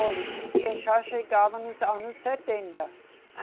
Olhe, eu já chegava nos anos setenta.